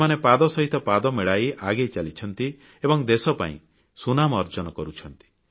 ସେମାନେ ପାଦ ସହିତ ପାଦ ମିଳାଇ ଆଗେଇ ଚାଲିଛନ୍ତି ଏବଂ ଦେଶ ପାଇଁ ସୁନାମ ଅର୍ଜନ କରୁଛନ୍ତି